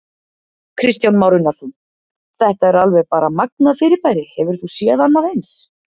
Kristján Már Unnarsson: Þetta er alveg bara magnað fyrirbæri, hefur þú séð annað eins?